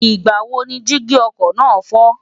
ìgbà wo ni dígí ọkọ̀ náà fọ́?